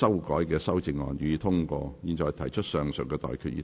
我現在向各位提出上述待決議題。